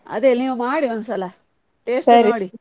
ಅದೇ ನೀವು ಮಾಡಿ ಒಂದ್ಸಲ taste .